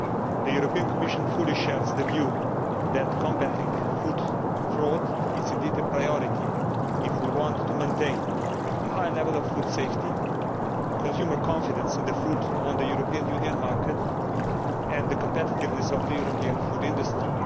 The Commission fully shares the view that combating food fraud is a priority if we want to maintain a high level of food safety, consumer confidence in food on the European Union market and the competitiveness of the European food industry.